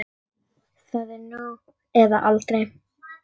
Það er nú eða aldrei.